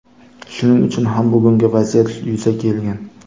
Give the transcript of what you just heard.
Shuning uchun ham bugungi vaziyat yuzaga kelgan.